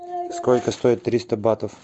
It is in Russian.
сколько стоит триста батов